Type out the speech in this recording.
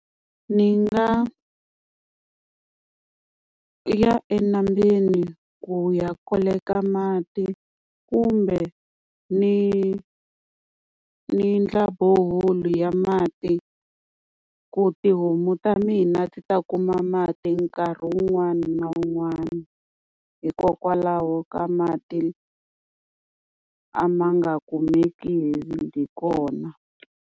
Ni nga ya enambyeni ku ya koleka mati kumbe ni ni endla borehole ya mati ku tihomu ta mina ti ta kuma mati nkarhi wun'wana na wun'wana, hikokwalaho ka mati a ma nga kumeki hi kona.